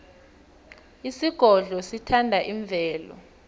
isigodlo sithanda imvelo